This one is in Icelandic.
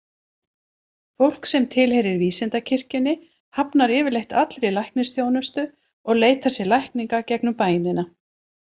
Fólk sem tilheyrir vísindakirkjunni hafnar yfirleitt allri læknisþjónustu og leitar sér lækninga gegnum bænina.